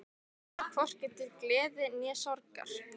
Ég fann hvorki til gleði né sorgar.